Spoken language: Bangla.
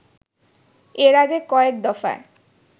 এর আগে কয়েক দফায়